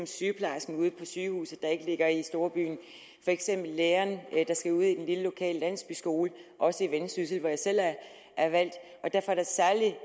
sygeplejersken ude på sygehuset der ikke ligger i storbyen eller læreren ude i den lille lokale landsbyskole også i vendsyssel hvor jeg selv er er valgt derfor